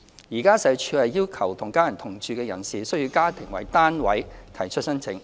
現時，社署要求與家人同住的人士須以家庭為單位提出申請。